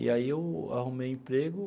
E aí eu arrumei emprego.